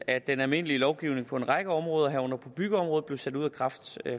at den almindelige lovgivning på en række om råder herunder på byggeområdet blev sat ud af kraft